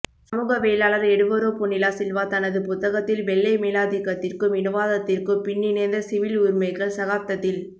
சமூகவியலாளர் Eduardo Bonilla Silva தனது புத்தகத்தில் வெள்ளை மேலாதிக்கத்திற்கும் இனவாதத்திற்கும் பின்னிணைந்த சிவில் உரிமைகள் சகாப்தத்தில்